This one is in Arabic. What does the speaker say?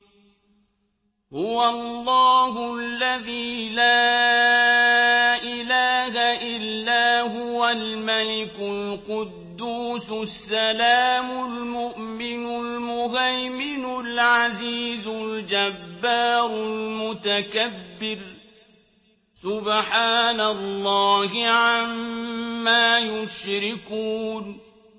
هُوَ اللَّهُ الَّذِي لَا إِلَٰهَ إِلَّا هُوَ الْمَلِكُ الْقُدُّوسُ السَّلَامُ الْمُؤْمِنُ الْمُهَيْمِنُ الْعَزِيزُ الْجَبَّارُ الْمُتَكَبِّرُ ۚ سُبْحَانَ اللَّهِ عَمَّا يُشْرِكُونَ